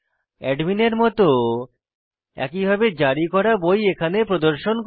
অ্যাডমিনের মত একইভাবে জারি করা বই এখানে প্রদর্শন করি